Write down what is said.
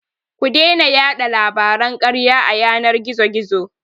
Ku daina yaɗa labaran karya a yanar gizo-gizo.